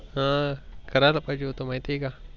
ह करायला पाहिजे होत माहिती आहे का?